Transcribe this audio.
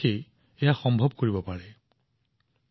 অলপ পৰিশ্ৰম কৰি আপুনি আপোনাৰ ঘৰত এনে ব্যৱস্থা কৰি লভ পাৰে